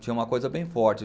Tinha uma coisa bem forte